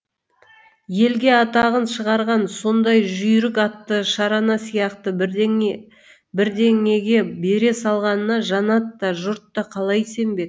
елге атағын шығарған сондай жүйрік атты шарана сияқты бірдеңеге бере салғанына жанат та жұрт та қалай сенбек